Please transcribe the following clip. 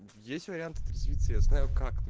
есть вариант трезвится знаю как